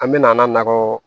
An bɛna an nakɔ